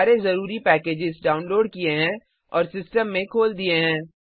सारे जरूरी packages download किए हैं और सिस्टम में खोल दिए हैं